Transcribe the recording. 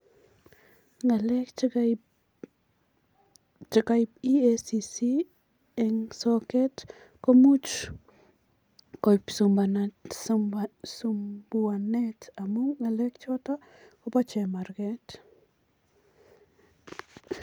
Ngalek chekaip EACC eng soket komuch koip sumbuanet amun ngalek choto kobo chemaraket.